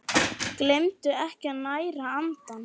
Gleymdu ekki að næra andann!